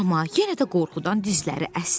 Amma yenə də qorxudan dizləri əsdi.